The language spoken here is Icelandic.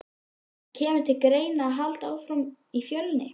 En kemur til greina að halda áfram í Fjölni?